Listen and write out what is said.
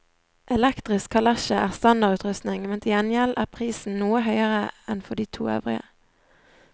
Elektrisk kalesje er standardutrustning, men til gjengjeld er prisen noe høyere enn for de to øvrige.